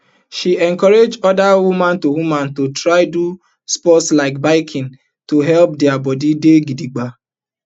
she encourage oda women to women to try do sport like mountain biking to help dia bodi dey gidigba